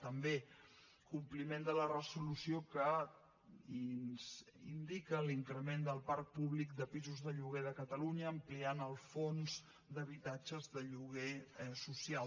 també compliment de la resolució que indica l’increment del parc públic de pisos de lloguer de catalunya ampliant el fons d’habitatges de lloguer social